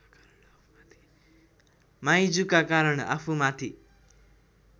माइजूका कारण आफूमाथि